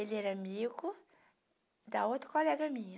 Ele era amigo da outra colega minha.